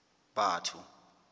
batho